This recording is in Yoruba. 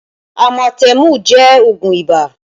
Amatemu jẹ́ oogun ibà